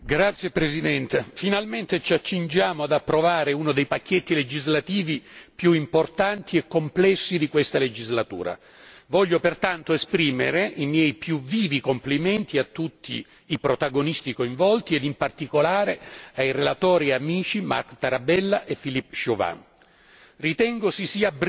Signor Presidente, onorevoli colleghi, finalmente ci accingiamo ad approvare uno dei pacchetti legislativi più importanti e complessi di questa legislatura. Voglio pertanto esprimere i miei più vivi complimenti a tutti i protagonisti coinvolti e, in particolare, ai relatori e amici Marc Tarabella e Philippe Juvin.